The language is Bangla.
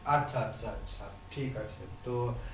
আচ্ছা আচ্ছা আচ্ছা ঠিক আছে তো